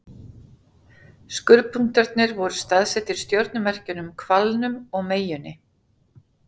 Skurðpunktarnir voru staðsettir í stjörnumerkjunum Hvalnum og Meyjunni.